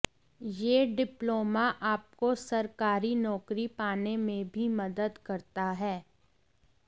यह डिप्लोमा आपको सरकारी नौकरी पाने में भी मदद करता है